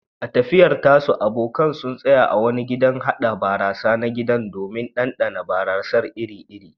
A tafiyar tasu, abokan sun tsaya a wani gidan haɗa barasa na gida domin ɗanɗana barasar iri-iri.